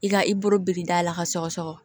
I ka i bolo biri dala ka sɔgɔ sɔgɔ